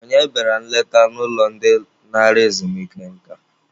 Onye bịara nleta n'ụlọ ndị nara ezumike nka?